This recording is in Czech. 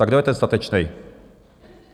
Tak kdo je ten statečný?